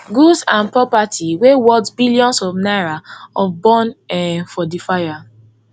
goods and property wey worth billions of naira of burn um for di fire